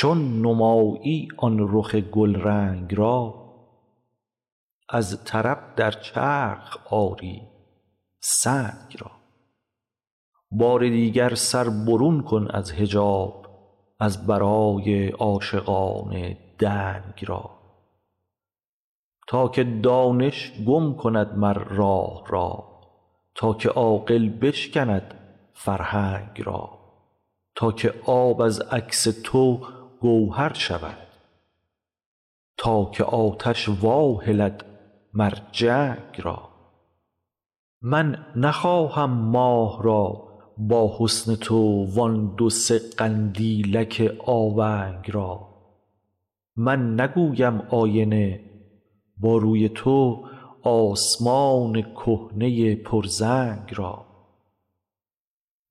چون نمایی آن رخ گلرنگ را از طرب در چرخ آری سنگ را بار دیگر سر برون کن از حجاب از برای عاشقان دنگ را تا که دانش گم کند مر راه را تا که عاقل بشکند فرهنگ را تا که آب از عکس تو گوهر شود تا که آتش واهلد مر جنگ را من نخواهم ماه را با حسن تو وان دو سه قندیلک آونگ را من نگویم آینه با روی تو آسمان کهنه پرزنگ را